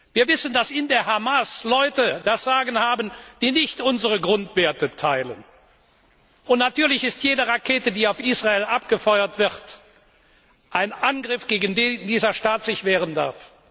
Wir wissen, dass in der Hamas Leute das Sagen haben, die nicht unsere Grundwerte teilen, und natürlich ist jede Rakete, die auf Israel abgefeuert wird, ein Angriff, gegen den sich dieser Staat wehren darf.